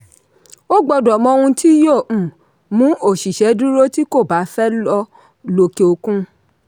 o gbọ́dọ̀ mọ ohun tí yóò um mú òṣìṣẹ́ dúró tí kò ba fẹ́ lòkè-òkun.